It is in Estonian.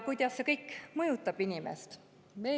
Kuidas see kõik mõjutab inimest?